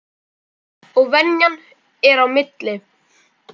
Og venjan er á milli.